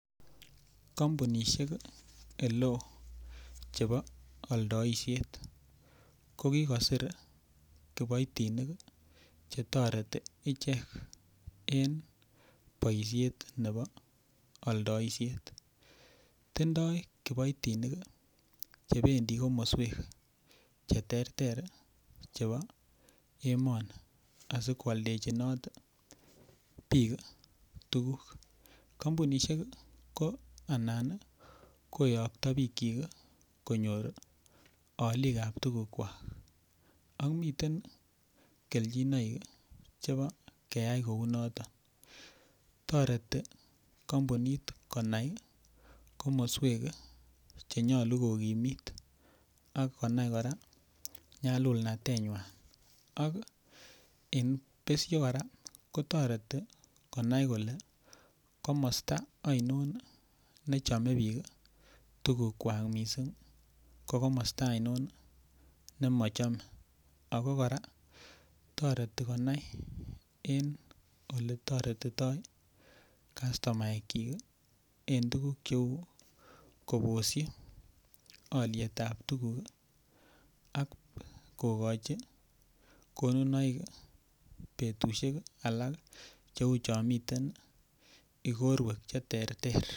Kampunishek ole oo chebo oldoishet kokikosir kiboitinik chetoreti icheget en boishet nebo oldoishet tindoi kiboitinik chebendi komoswek cheterter chebo emoni asikwaldechinot biik tukuk kampunishek ko anan keyokto biik chik konyor olikab tukukwak ak miten kelchinoik chebo keyai kou noto toreti kampunit konai komoswek chenyolu kokimit ak konai kora nyalulatenywai ak en besho kora kotoreti konai kole komosta ainon nechomei biik tukukwak mising' ko komosta ainon nimachomei ako kora toreti konai en ole toretitoi kastomaek chi ing' tukuk kobosin olietab tukuk ak kokochi konunoik betushek alak cheu Cho miten ikorwek cheterter